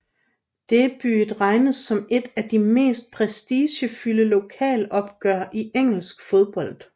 Derbyet regnes som et af de mest prestigefyldte lokalopgør i engelsk fodbold